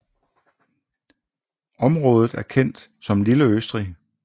I området er stedet kendt som lille Østrig